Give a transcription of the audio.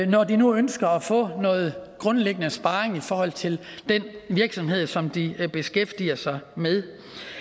når de nu ønsker at få noget grundlæggende sparring i forhold til den virksomhed som de beskæftiger sig med